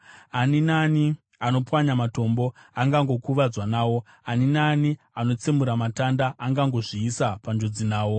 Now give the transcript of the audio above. Ani naani anopwanya matombo angangokuvadzwa nawo; ani naani anotsemura matanda angangozviisa panjodzi nawo.